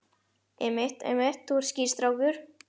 Einmitt, einmitt, þú ert skýr strákur.